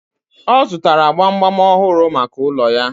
Ọ zụtara gbamgbam ọhụrụ maka ụlọ ya..